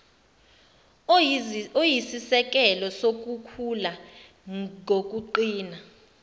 oyisisekelo sokukhula ngokuqina